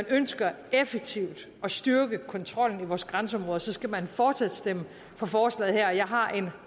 ønsker effektivt at styrke kontrollen ved vores grænseområder skal man fortsat stemme for forslaget her jeg har en